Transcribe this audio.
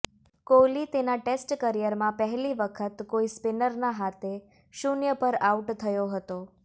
કોહલી તેના ટેસ્ટ કેરિયરમાં પહેલી વખત કોઈ સ્પિનરના હાથે શૂન્ય પર આઉટ થયો હતો